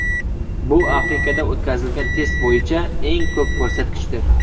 Bu Afrikada o‘tkazilgan test bo‘yicha eng ko‘p ko‘rsatkichdir.